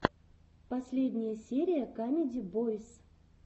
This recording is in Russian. последняя серия камеди бойс